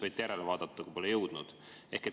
Võite järele vaadata, kui pole jõudnud.